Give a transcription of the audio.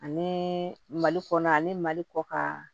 Ani mali kɔnɔ ani mali kɔ ka